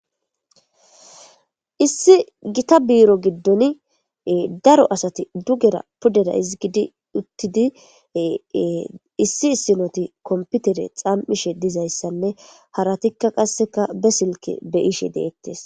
issi gita biiro giddon daro asati dugera pudera izigidi uttidi issi issinoti komputere xaam7ishe dizayssanne haratikka qasseka be silke beyishe deettes